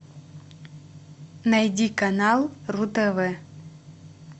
найди канал ру тв